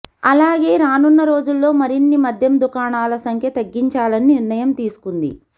అలాగే రానున్న రోజుల్లో మరిన్ని మద్యం దుకాణాల సంఖ్య తగ్గించాలని నిర్ణయం తీసుకుంది